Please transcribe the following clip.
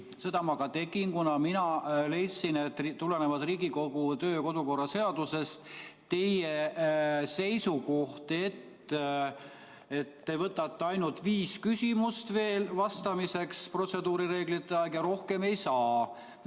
Seda ma ka tegin, kuna mina leidsin, et tulenevalt Riigikogu kodu- ja töökorra seadusest teie seisukoht, et te võtate ainult viis küsimust veel vastamiseks protseduurireeglite kohta ja rohkem ei saa,.